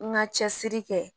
N ka cɛsiri kɛ